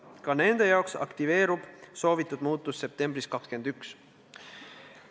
Ka nende jaoks aktiveerub soovitud muutus septembris 2021.